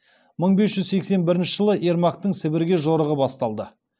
мың бес жүз сексен бірінші ермактың сібірге жорығы басталды